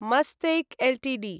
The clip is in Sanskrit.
मस्तेक् एल्टीडी